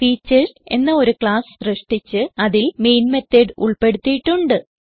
features എന്ന ഒരു class സൃഷ്ടിച്ച് അതിൽ മെയിൻ മെത്തോട് ഉൾപ്പെടുത്തിയിട്ടുണ്ട്